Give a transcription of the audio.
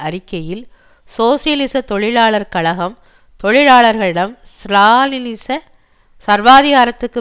அறிக்கையில் சோசியலிச தொழிலாளர் கழகம் தொழிலாளர்களிடம் ஸ்ராலினிச சர்வாதிகாரத்திற்கு